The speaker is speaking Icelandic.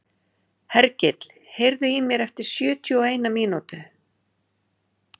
Hergill, heyrðu í mér eftir sjötíu og eina mínútur.